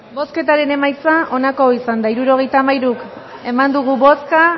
bozketaren emaitza onako izan da hirurogeita hamairu eman dugu bozka